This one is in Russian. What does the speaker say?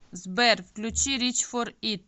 сбер включи рич фор ит